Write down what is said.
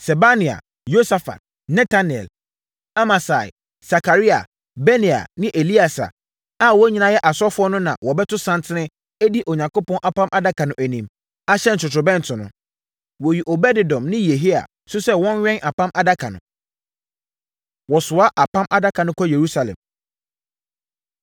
Sebania, Yosafat, Netanel, Amasai, Sakaria, Benaia ne Elieser a wɔn nyinaa yɛ asɔfoɔ no na wɔbɛto santen adi Onyankopɔn Apam Adaka no anim, ahyɛn ntotorobɛnto no. Wɔyii Obed-Edom ne Yehia nso sɛ wɔnwɛn Apam Adaka no. Wɔsoa Apam Adaka No Kɔ Yerusalem